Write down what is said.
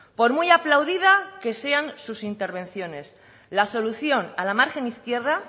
por muy aplaudida que sean sus intervenciones la solución a la margen izquierda